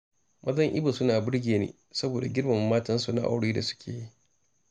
Mazan Ibo suna birge ni, saboda girmama matansu na aure da suke yi